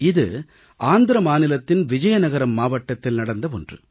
இது ஆந்திர மாநிலத்தின் விஜயநகரம் மாவட்டத்தில் நடந்த ஒன்று